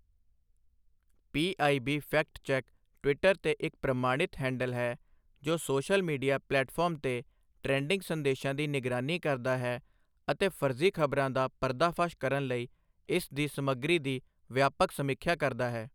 PIB fact check Twitter ਤੇ ਇੱਕ ਪ੍ਰਮਾਣਿਤ ਹੈਂਡਲ ਹੈ, ਜੋ ਸੋਸ਼ਲ ਮੀਡੀਆ ਪਲੈਟਫਾਰਮਸ ਤੇ ਟ੍ਰੈਂਡਿੰਗ ਸੰਦੇਸ਼ਾਂ ਦੀ ਨਿਗਰਾਨੀ ਕਰਦਾ ਹੈ ਅਤੇ ਫਰਜ਼ੀ ਖ਼ਬਰਾਂ ਦਾ ਪਰਦਾਫਾਸ਼ ਕਰਨ ਲਈ ਇਸ ਦੀ ਸਮੱਗਰੀ ਦੀ ਵਿਆਪਕ ਸਮੀਖਿਆ ਕਰਦਾ ਹੈ।